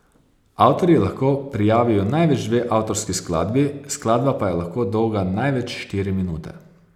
Avtorji lahko prijavijo največ dve avtorski skladbi, skladba pa je lahko dolga največ štiri minute.